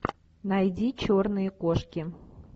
найди черные кошки